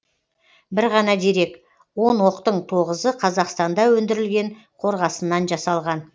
бір ғана дерек он оқтың тоғызы қазақстанда өндірілген қорғасыннан жасалған